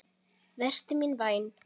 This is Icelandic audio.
Vertu mér vænn.